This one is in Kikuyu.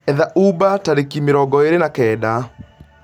etha Uber tarĩki mĩrongo ĩri na kenda